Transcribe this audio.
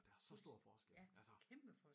Og der er så stor forskel altså